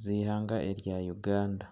z'ihanga erya Uganda.